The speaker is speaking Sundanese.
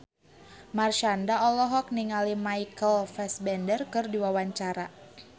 Marshanda olohok ningali Michael Fassbender keur diwawancara